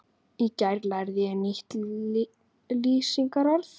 Í gær lærði ég nýtt lýsingarorð.